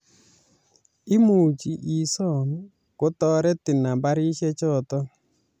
Imuchi isoom ketoretin nambarishechoto